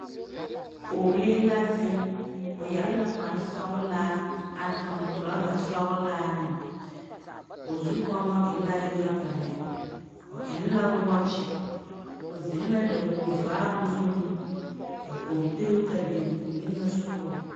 Pͻgelee la zeŋe, o yԑre la kpare sͻgelaa, a tuŋ torͻza sͻgelaa meŋ. O zukͻmͻ e la yaga lԑ. o eŋ la wͻͻkye, o zeŋe la dakogi vaabo zuŋ, ka kͻmpiita biŋ o niŋe sogͻŋ.